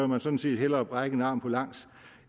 man sådan set hellere brække en arm på langs